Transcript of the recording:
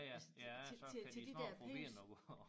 Ja ja ja så kan de små problemer